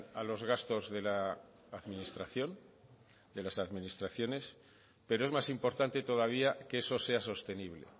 a los gastos de la administración de las administraciones pero es más importante todavía que eso sea sostenible